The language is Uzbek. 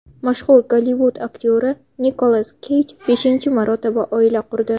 Mashhur Gollivud aktyori Nikolas Keyj beshinchi marotaba oila qurdi.